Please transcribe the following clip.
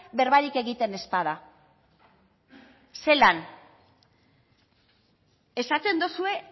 berbarik egiten ez bada zelan esaten duzue